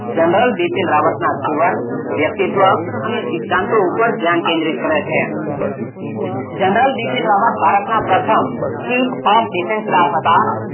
General Bipin રાવતનાં જીવન, વ્યક્તિત્વ અને સિદ્ધાંતો ઉપર ધ્યાન કેંદ્રિત કરે છે જનરલ બિપિન રાવત ભારતમાં પ્રથમ seek of defense staff હતાં.